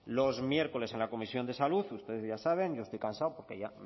los miércoles en la comisión de salud ustedes ya saben yo estoy cansado porque ya